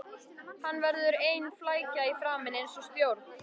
Hann verður ein flækja í framan, eins og stjórn